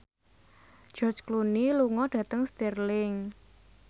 George Clooney lunga dhateng Stirling